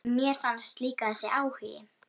Mér fannst líka þessi áhugi